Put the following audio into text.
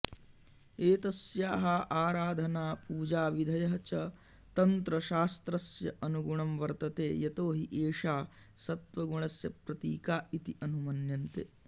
एतस्याः आराधना पूजाविधयः च तन्त्रशास्त्रस्य अनुगुणं वर्तते यतोहि एषा सत्त्वगुणस्य प्रतीका इति अनुमन्यते